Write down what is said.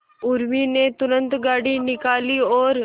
उर्मी ने तुरंत गाड़ी निकाली और